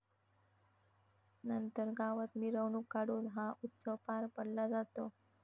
नंतर गावात मिरवणूक काढून हा उत्सव पार पडला जातो.